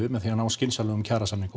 með því að ná skynsamlegum kjarasamningum